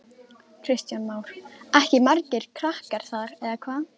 Kristján Már: Ekki margir krakkar þar eða hvað?